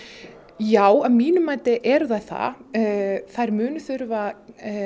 já að mínu mati eru þær það þær munu þurfa